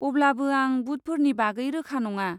अब्लाबो आं बुटफोरनि बागै रोखा नङा।